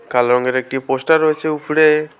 কালো রংয়ের একটি পোস্টার রয়েছে উপরে।